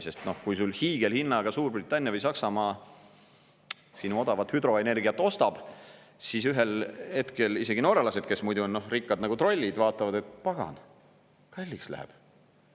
Sest kui sul hiigelhinnaga Suurbritannia või Saksamaa sinu odavat hüdroenergiat ostab, siis ühel hetkel isegi norralased, kes muidu on, noh, rikkad nagu trollid, vaatavad, et pagan, kalliks läheb.